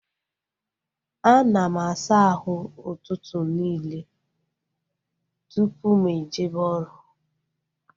A na m asa ahụ ụtụtụ nille tupu m ejebe oru